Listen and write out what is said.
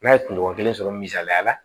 N'a ye kunɲɔgɔn kelen sɔrɔ misaliya la